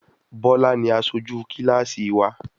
Bọ́lá ni aṣojú kílàsì wà.